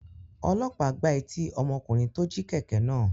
Ọlọ́pàá gbá etí ọmọkùnrin tó jí kẹ̀kẹ́ náà.